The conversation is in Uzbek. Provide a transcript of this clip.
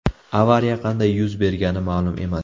Avariya qanday yuz bergani ma’lum emas.